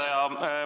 Hea juhataja!